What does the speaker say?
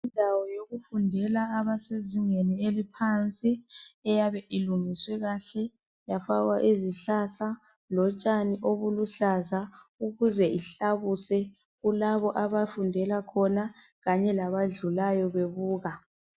Indawo yokufundela abesezingeni eliphansi iyabe ilungiswe kahle yafakwa izihlahla lotshani oluluhlaza ukuze ihlabuse kulabo abafundela khona Kanye labadlulayo bebuka